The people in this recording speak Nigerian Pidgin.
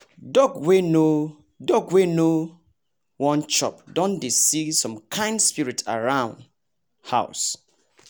dog wey no dog wey no won chop don dey see some kind spirit around house